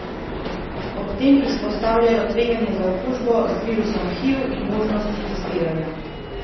Ob tem izpostavljajo tveganja za okužbo z virusom hiv in možnosti testiranja.